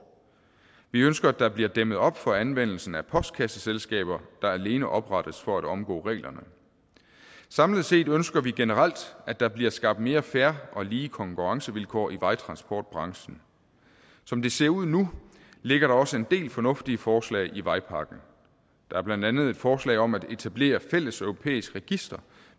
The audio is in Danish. vi ønsker at der bliver dæmmet op for anvendelsen af postkasseselskaber der alene oprettes for at omgå reglerne samlet set ønsker vi generelt at der bliver skabt mere fair og lige konkurrencevilkår i vejtransportbranchen som det ser ud nu ligger der også en del fornuftige forslag i vejpakken der er blandt andet et forslag om at etablere et fælles europæisk register